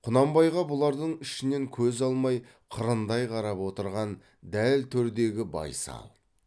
құнанбайға бұлардың ішінен көз алмай қырындай қарап отырған дәл төрдегі байсал